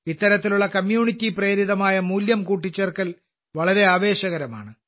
ഇത്തരത്തിലുള്ള സാമൂഹ്യ പ്രേരിതമായ മൂല്യം കൂട്ടിച്ചേർക്കൽ വളരെ ആവേശകരമാണ്